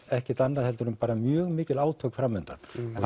ekkert annað en mjög mikil átök fram undan